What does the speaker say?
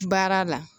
Baara la